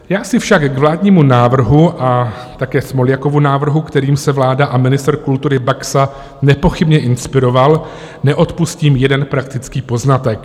Já si však k vládnímu návrhu a také Smoljakovu návrhu, kterým se vláda a ministr kultury Baxa nepochybně inspirovali, neodpustím jeden praktický poznatek.